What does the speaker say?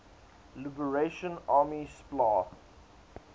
liberation army spla